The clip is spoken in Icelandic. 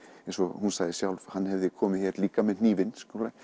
eins og hún sagði sjálf hann hefði komið hér líka með hnífinn